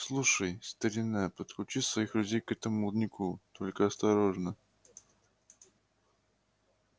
слушай старина подключи своих людей к этому молодняку только осторожно